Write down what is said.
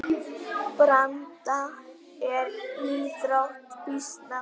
Branda er íþrótt býsna forn.